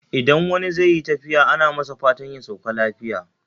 Idan wani zai yi tafiya ana masa fatan ya sauka lafiya